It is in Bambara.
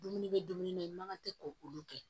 Dumuni bɛ dumuni na i man kan tɛ ko olu kɛ